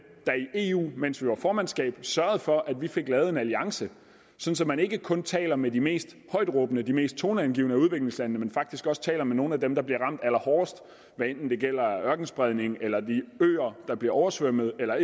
der i eu mens vi havde formandskabet sørgede for at vi fik lavet en alliance så man ikke kun taler med de mest højtråbende og de mest toneangivende af udviklingslandene men faktisk også taler med nogle af dem der bliver ramt allerhårdest hvad enten det gælder ørkenspredning eller de øer der bliver oversvømmet eller